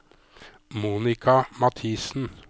Monika Mathiesen